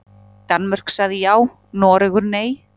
Danmörk sagði já, Noregur nei.